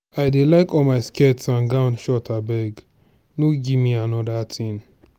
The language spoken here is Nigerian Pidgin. i dey like all my skirt and gown short abeg no give me another thing.